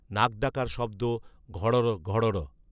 নাক ডাকার শব্দ, ঘড়র ঘড়ড়